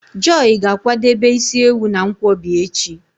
Joy ga-akwadebe isi ewu na nkwobi echi